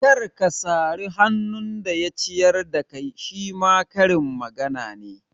Kar ka sari hannun da ya ciyar da kai shima karin magana ne